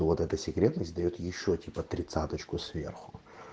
то вот эта секретность даёт ещё типа тридцаточку сверху